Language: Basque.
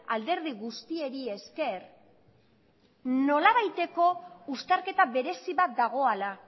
alderdi guztiei esker nolabaiteko uztarketa berezi bat dagoala